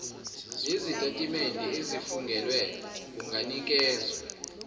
nezitatimende ezifungelwe kunganikezwa